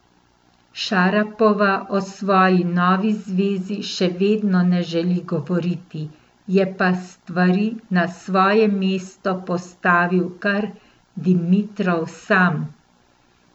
Šarapova o svoji novi zvezi še vedno ne želi govoriti, je pa stvari na svoje mesto postavil kar Dimitrov sam.